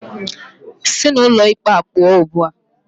Sị n'ụlọ ikpe a pụọ ugbu a!